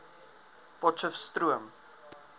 potcheftsroom